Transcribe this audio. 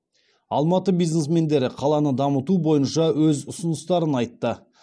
алматы бизнесмендері қаланы дамыту бойынша өз ұсыныстарын айтты